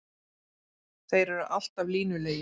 Þeir eru alltaf línulegir.